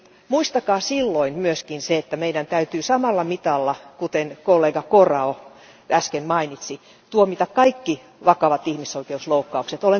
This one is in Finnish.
Muistakaa silloin myös se, että meidän täytyy samalla mitalla, kuten kollega Corrao äsken mainitsi, tuomita kaikki vakavat ihmisoikeusloukkaukset.